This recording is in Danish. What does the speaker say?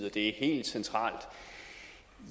at det er helt centralt